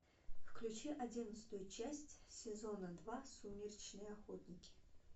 включи одиннадцатую часть сезона два сумеречные охотники